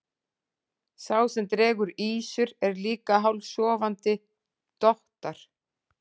Sá sem dregur ýsur er líka hálfsofandi, dottar.